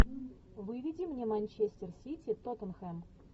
выведи мне манчестер сити тоттенхэм